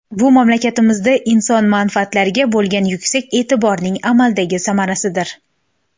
Bu mamlakatimizda inson manfaatlariga bo‘lgan yuksak e’tiborning amaldagi samarasidir.